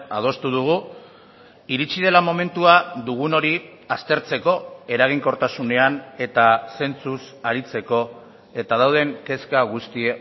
adostu dugu iritsi dela momentua dugun hori aztertzeko eraginkortasunean eta zentzuz aritzeko eta dauden kezka guzti